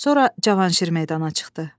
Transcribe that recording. Sonra Cavanşir meydana çıxdı.